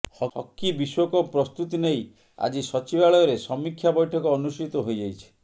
hockey ବିଶ୍ୱକପ ପ୍ରସ୍ତୁତି ନେଇ ଆଜି ସଚିବାଳୟରେ ସମୀକ୍ଷା ବୈଠକ ଅନୁଷ୍ଠିତ ହୋଇଯାଇଛି